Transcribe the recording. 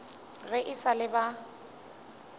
ge e sa le ba